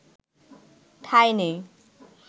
ঠাঁই নেই